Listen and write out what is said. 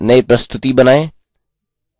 एक नयी प्रस्तुति बनाएँ